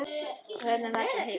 Höfðum varla hist.